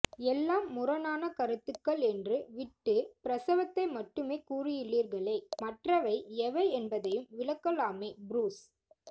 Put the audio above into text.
எல்லாம் முரணான கருத்துக்கள் என்று விட்டு பிரசவத்தை மட்டுமே கூறியுள்ளீர்களே மற்றவை எவை என்பதையும் விளக்கலாமே புருஸ்